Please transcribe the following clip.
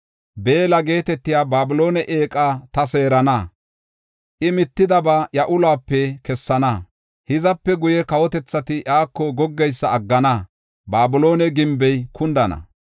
Beella geetetiya Babiloone eeqa ta seerana; I mittidaba iya uluwape kessana. Hizape guye, kawotethati iyako goggeysa aggana; Babiloone gimbey kundana.